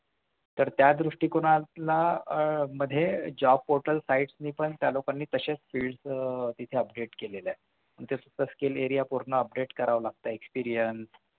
तर त्या दृष्टिकोनातला आह मध्ये job portal sites नि पण त्या लोकांनी तसेच fields आह तिथे update केलेलं आहे तिथे पूर्ण skill area पूर्ण update करावं लागतंय